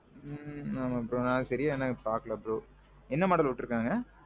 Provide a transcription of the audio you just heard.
ஆ ஆமாம் bro. சரியா நான் பாக்கல bro. என்ன model உற்றுக்காங்க?